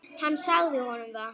Hann sagði honum það.